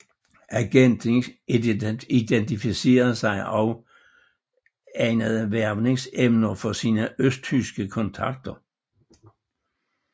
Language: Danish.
Agenten identificerede også egnede hvervningsemner for sine østtyske kontakter